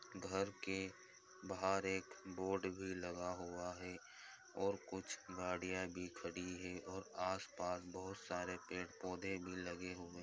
घर के बाहर एक बोर्ड भी लगा हुआ है और कुछ गाड़ियाँ भी खड़ी हैं और आस पास बोहोत सारे पेड़ पौधे भी लगे हुए --